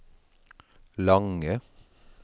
lange